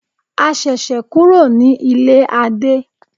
A ṣẹ̀ṣẹ̀ kúrò ní ilé Adé.